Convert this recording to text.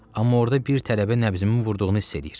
Amma orda bir tələbə nəbzimi vurduğunu hiss eləyir.